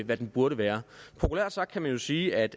hvad den burde være populært sagt kan man jo sige at